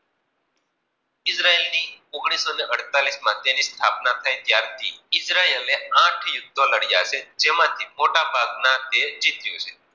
Israel ઓગણીસો અડતાલીસ માં તેની સ્થાપના થઈ ત્યાર થી ઈજરાયલ આઠ યુદ્ધ લડ્યા છે? જેમ થી મોટા ભાગ નો તે જીત્યો છે?